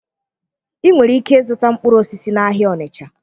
Ị nwere ike ịzụta mkpụrụ osisi n'ahịa Ọnịcha